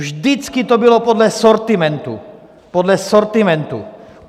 Vždycky to bylo podle sortimentu, podle sortimentu.